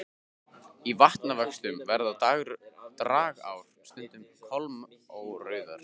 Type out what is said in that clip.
Í vatnavöxtum verða dragár stundum kolmórauðar.